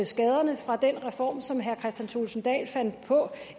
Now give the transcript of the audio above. skaderne fra den reform som herre kristian thulesen dahl fandt på